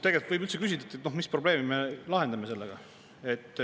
Tegelikult võib üldse küsida, mis probleemi me sellega lahendame.